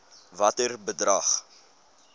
watter bedrag